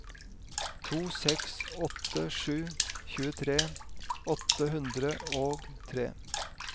to seks åtte sju tjuetre åtte hundre og tre